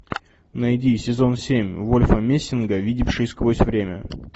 найди сезон семь вольфа мессинга видевший сквозь время